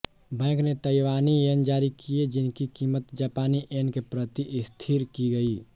bank ने ताइवानी yen जारी किए जिनकी क़ीमत जापानी येन के प्रति स्थिर की गई